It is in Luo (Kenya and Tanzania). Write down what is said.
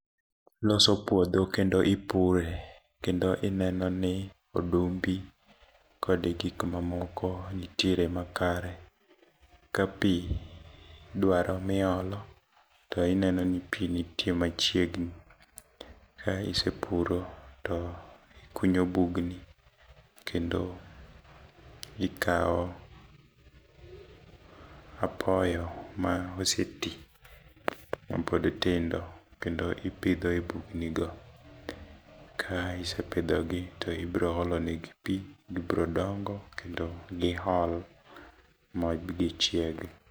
Loso puodho kendo ipure, kendo ineno ni odumbi kod gik ma moko nitiere makare, ka pi dwaro miolo to ineno ni pi nitie machiegni. Ka isepuro to ikunyo bugni, kendo ikawo apoyo ma oseti, mapod tindo. Kendo ipidho e bugni go. Ka isepidho gi, to ibiro olo negi pi, gibiro dongo, kendo giol bi gichieg.